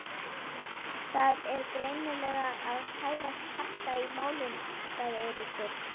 Það er greinilega að færast harka í málin sagði Eiríkur.